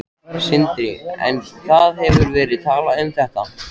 Sindri: En það hefur verið talað um þetta?